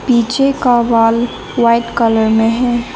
नीचे का wall white colour में है।